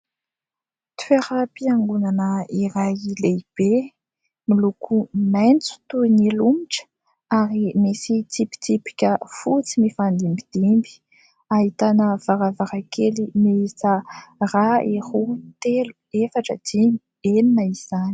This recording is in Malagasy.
Toeram-piangonana iray lehibe miloko maitso toy ny lomotra, ary misy tsipitsipika fotsy mifandimbidimby; ahitana varavarankely miisa iray, roa, telo, efatra, dimy, enina izany.